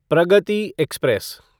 Pragati express